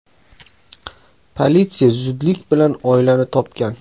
Politsiya zudlik bilan oilani topgan.